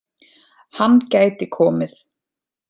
Hann gæti komið